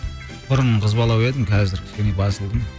бұрын қызбалау едім қазір басылдым